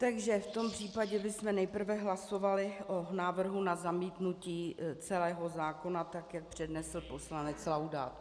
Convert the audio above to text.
Takže v tom případě bychom nejprve hlasovali o návrhu na zamítnutí celého zákona, tak jak přednesl poslanec Laudát.